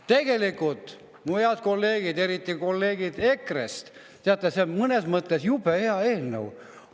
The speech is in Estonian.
Tegelikult, mu head kolleegid, eriti kolleegid EKRE-st, teate, see on mõnes mõttes jube hea eelnõu.